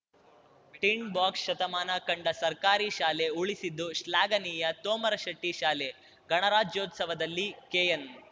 ಟಿಡ್ box ಶತಮಾನ ಕಂಡ ಸರ್ಕಾರಿ ಶಾಲೆ ಉಳಿಸಿದ್ದು ಶ್ಲಾಘನೀಯ ತೋಮರಶೇಟ್ಟಿಶಾಲೆ ಗಣರಾಜ್ಯೋತ್ಸವದಲ್ಲಿ ಕೆಎನ್‌